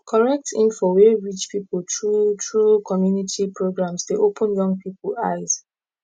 correct info wey reach people through through community programs dey open young people eyes